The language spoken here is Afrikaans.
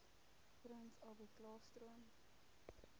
prins albertklaarstroom